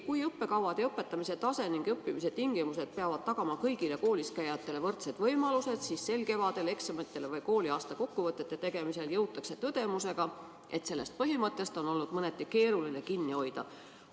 Kui õppekavad, õpetamise tase ja õppimistingimused peavad tagama kõigile koolis käijatele võrdsed võimalused, siis sel kevadel eksamitele või muudele kooliaasta kokkuvõtete tegemisele jõutakse tõdemusega, et sellest põhimõttest on olnud mõneti keeruline kinni hoida.